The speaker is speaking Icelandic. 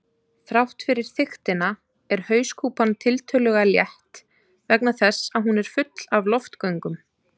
Þrátt fyrir þykktina er hauskúpan tiltölulega létt vegna þess að hún er full af loftgöngum.